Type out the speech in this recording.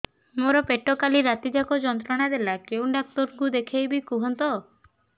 ମୋର ପେଟ କାଲି ରାତି ଯାକ ଯନ୍ତ୍ରଣା ଦେଲା କେଉଁ ଡକ୍ଟର ଙ୍କୁ ଦେଖାଇବି କୁହନ୍ତ